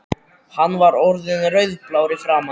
Hann var orðinn rauðblár í framan.